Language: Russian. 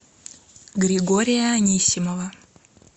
григория анисимова